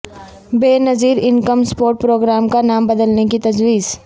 بے نظیر income support programme کا نام بدلنے کی تجویز